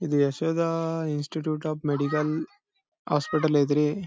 Yashoda institute of medical hospital ಯೆದಿರ್ಗೆ --